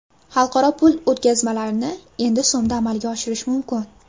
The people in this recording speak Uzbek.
Xalqaro pul o‘tkazmalarini endi so‘mda amalga oshirish mumkin.